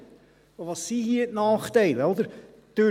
Und das sind hier die Nachteile, oder?